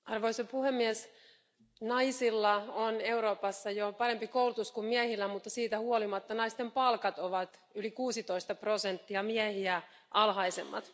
Arvoisa puhemies, naisilla on Euroopassa jo parempi koulutus kuin miehillä, mutta siitä huolimatta naisten palkat ovat yli 16 prosenttia miehiä alhaisemmat.